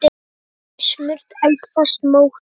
Raðið í smurt eldfast mót.